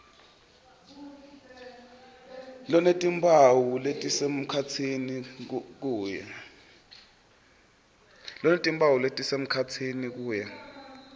lonetimphawu letisemkhatsini kuya